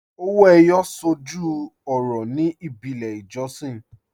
Ọwọ́ Eyọ̀ sọ́jú ọ̀rọ̀ ní ìbílẹ̀ ìjọ̀ṣìn